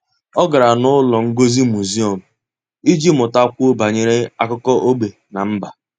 Ọ́ gárá n’ụ́lọ́ ngosi muziọ́m iji mụ́takwuo banyere ákụ́kọ́ ógbè na mba.